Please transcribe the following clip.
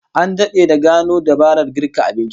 An dade da gano dabarar girka abinci